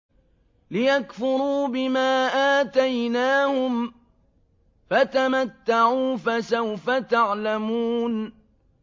لِيَكْفُرُوا بِمَا آتَيْنَاهُمْ ۚ فَتَمَتَّعُوا فَسَوْفَ تَعْلَمُونَ